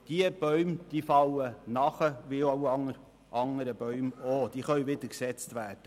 Diese Bäume fallen wie alle anderen Bäume auch, die können wieder gesetzt werden.